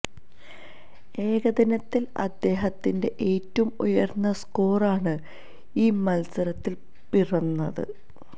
ഏകദിനത്തില് അദ്ദേഹത്തിന്റെ ഏറ്റവും ഉയര്ന്ന സ്കോര് ആണ് ഈ മത്സരത്തില് പിറന്നത്